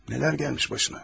Nələr gəlmiş başına.